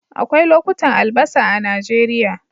Akwai lokutan albasa a Najeriya